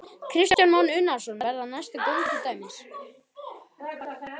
Kristján Már Unnarsson: Verða það næstu göng til dæmis?